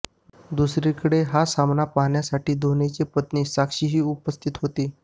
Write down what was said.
दुसरीकडे हा सामना पाहण्यासाठी धोनीची पत्नी साक्षीही उपस्थित होती